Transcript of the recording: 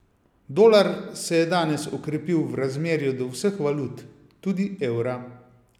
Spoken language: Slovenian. Dolar se je danes okrepil v razmerju do vseh valut, tudi evra.